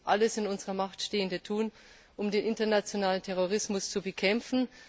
Wir müssen alles in unserer Macht Stehende tun, um den internationalen Terrorismus zu bekämpfen.